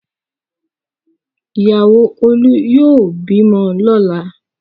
Ìyàwó Olú yóò bímọ lọ́la!